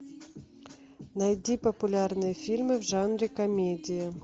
найди популярные фильмы в жанре комедия